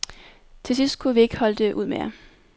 Til sidst kunne vi ikke holde det ud mere.